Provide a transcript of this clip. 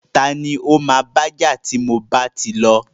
Tani o ma baja ti mo bá ti lọ?